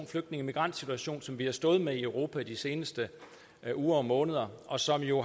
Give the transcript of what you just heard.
flygtninge migrantsituation som vi har stået med i europa i de seneste uger og måneder og som jo